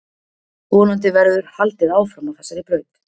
Vonandi verður haldið áfram á þessari braut.